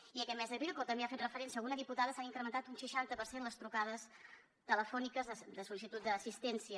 i aquest mes d’abril com també hi ha fet referència alguna diputada s’han incrementat un seixanta per cent les trucades telefòniques de sol·licitud d’assistència